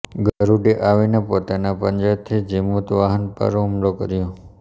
ગરુડે આવીને પોતાના પંજાથી જીમુતવાહન પર હુમલો કર્યો